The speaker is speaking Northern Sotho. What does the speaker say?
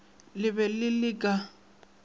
le be le le ka